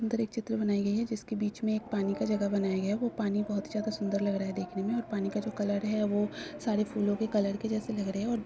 सुन्दर एक चित्र बनाई गई है जिसके बीच में एक पानी का जगह बनाया गया है। वो पानी बहोत ही ज्यादा सुन्दर लग रहा है देखने में। और पानी का जो कलर है वो सारे फूलों के कलर के जेसे लग रहे हैं। और--